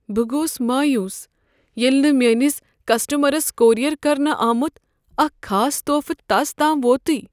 بہٕ گوس مایوس ییٚلہ نہٕ میٲنس کسٹمرس کوریر کرنہٕ آمت اکھ خاص تحفہٕ تس تام ووتٕے۔